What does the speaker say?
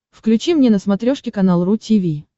включи мне на смотрешке канал ру ти ви